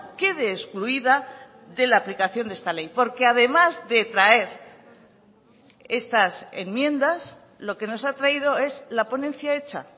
quede excluida de la aplicación de esta ley porque además de traer estas enmiendas lo que nos ha traído es la ponencia hecha